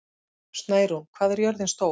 Snærún, hvað er jörðin stór?